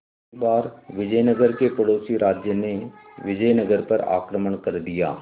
एक बार विजयनगर के पड़ोसी राज्य ने विजयनगर पर आक्रमण कर दिया